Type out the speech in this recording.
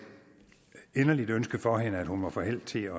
inderligt ønske for hende at hun må få held til